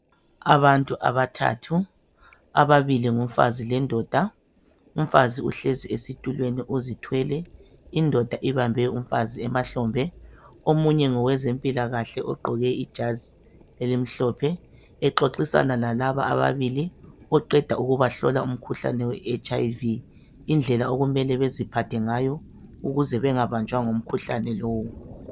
Abantu abathathu, ababili ngumfazi lendoda. Umfazi uhlezi esitulweni uzithwele. Indoda ibambe umfazi emahlombe. Omunye ngowezempilakahle ogqoke ijazi elimhlophe, exoxisana lalaba ababili oqeda ukubahlola umkhuhlane we HIV, indlela okumele baziphathe ngayo, ukuze bangabanjwa ngumkhuhlane lowu.